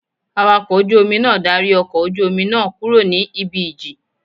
Awakọ̀ ojú Omi náà darí ọkọ̀ ojú Omi náà kúrò ibi ìjì